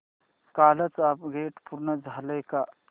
कालचं अपग्रेड पूर्ण झालंय का